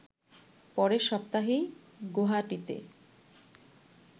পরের সপ্তাহেই গৌহাটিতে